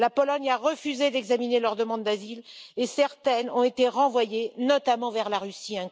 La Pologne a refusé d'examiner leurs demandes d'asile et certaines ont été renvoyées, notamment vers la Russie.